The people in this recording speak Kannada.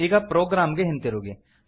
ಈಗ ಪ್ರೊಗ್ರಾಮ್ ಗೆ ಹಿಂತಿರುಗಿ